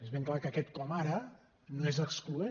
és ben clar que aquest com ara no és excloent